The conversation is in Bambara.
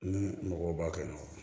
Ni mɔgɔw b'a kɛ nɔn